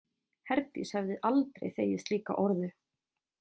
Herdís hefði aldrei þegið slíka orðu.